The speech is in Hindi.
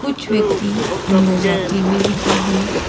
कुछ व्यक्ति अंदर जाते हुए दिखाई दे--